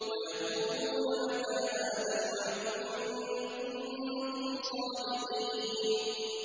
وَيَقُولُونَ مَتَىٰ هَٰذَا الْوَعْدُ إِن كُنتُمْ صَادِقِينَ